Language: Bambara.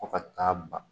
Fɔ ka taa ban